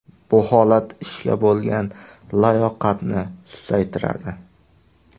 Bu holat ishga bo‘lgan layoqatni susaytiradi.